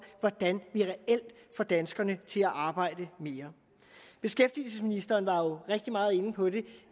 hvordan vi reelt får danskerne til at arbejde mere beskæftigelsesministeren var jo rigtig meget inde på det